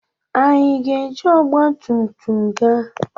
Anyị ga-eji ọgbatumtum gaa?